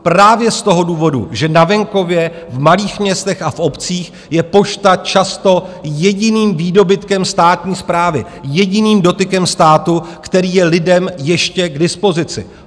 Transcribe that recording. Právě z toho důvodu, že na venkově, v malých městech a v obcích je pošta často jediným výdobytkem státní správy, jediným dotykem státu, který je lidem ještě k dispozici.